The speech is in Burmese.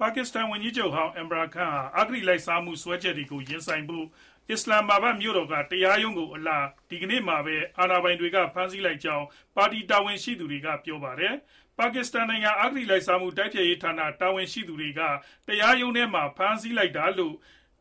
ပါကစ္စတန် ဝန်ကြီးချုပ်ဟောင်း Imran Khan ဟာ အဂတိလိုက်စားမှု စွဲချက်တွေကို ရင်ဆိုင်ဖို့ အစ္စလာမ္မာဘတ်မြို့တော်က တရားရုံးကိုအလာ ဒီကနေ့မှာပဲ အာဏာပိုင်တွေက ဖမ်းဆီးလိုက်ကြောင်း ပါတီတာဝန်ရှိသူတွေက ပြောပါတယ်။ ပါကစ္စတန်နိုင်ငံ အဂတိလိုက်စားမှု တိုက်ဖျက်ရေးဌာန တာဝန်ရှိသူတွေက တရားရုံးဝန်းထဲမှာ ဖမ်းဆီးလိုက်တာလို့လည်း